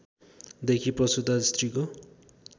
देखि प्रसूता स्त्रीको